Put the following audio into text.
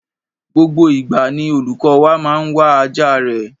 Gbogbo ìgbà ni olùkọ́ wa máa ń wá ajá rẹ̀.